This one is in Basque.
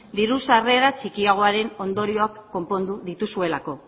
diru sarrerak txikiagoaren ondorioak konpondu dituzuelako